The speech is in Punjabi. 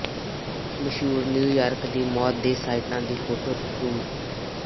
ਮਸ਼ਹੂਰ ਨਿਊਯਾਰਕ ਦੀ ਮੌਤ ਦੇ ਸਾਈਟਾਂ ਦੀ ਫੋਟੋ ਟੂਰ